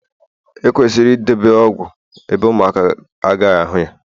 ekwesịrị idobe ọgwụ ebe ụmụaka a ga ahu ya